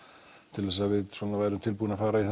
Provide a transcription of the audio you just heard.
til að við værum tilbúin að fara í